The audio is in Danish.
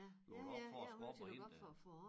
Lukket op for æ skorpe og hen øh